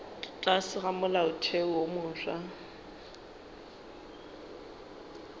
tlase ga molaotheo wo mofsa